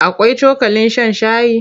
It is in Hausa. Akwai cokalin shan shayi?